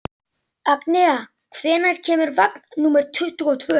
Agnea, hvenær kemur vagn númer tuttugu og tvö?